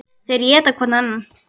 Þeir éta hvorn annan.